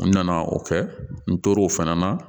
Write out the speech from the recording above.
N nana o kɛ n tora o fana na